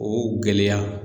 O gɛlɛya.